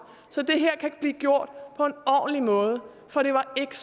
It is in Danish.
så det her kan blive gjort på en ordentlig måde for det var ikke